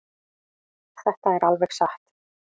Þetta er alveg satt.